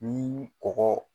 Ni kɔkɔ